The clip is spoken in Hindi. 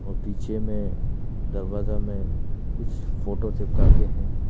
और पीछे में दरवाजा में कुछ फोटो चिपका के हैं।